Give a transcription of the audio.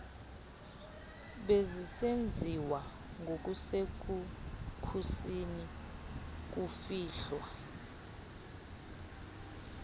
bezisenziwa ngokusekhusini kufihlwa